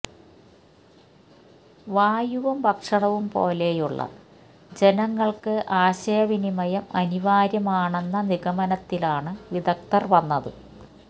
വായുവും ഭക്ഷണവും പോലെയുള്ള ജനങ്ങൾക്ക് ആശയവിനിമയം അനിവാര്യമാണെന്ന നിഗമനത്തിലാണ് വിദഗ്ധർ വന്നത്